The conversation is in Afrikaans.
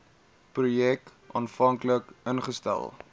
projek aanvanklik ingestel